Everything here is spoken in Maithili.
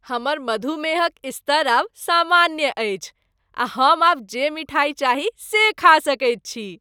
हमर मधुमेहक स्तर आब सामान्य अछि आ हम आब जे मिठाई चाही से खा सकैत छी।